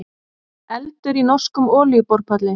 Eldur í norskum olíuborpalli